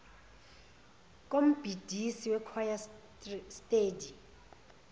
kombhidisi wekhwaya steady